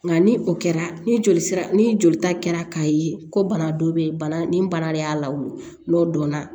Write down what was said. Nka ni o kɛra ni joli sira ni jolita kɛra k'a ye ko bana dɔ bɛ yen bana nin bana de y'a la wolo n'o dɔnna